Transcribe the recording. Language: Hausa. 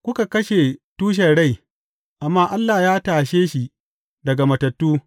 Kuka kashe tushen rai, amma Allah ya tashe shi daga matattu.